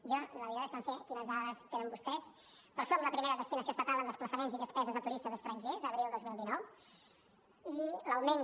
jo la veritat és que no sé quines dades tenen vostès però som la primera destinació estatal en desplaçaments i despeses de turistes estrangers abril dos mil dinou i l’augment de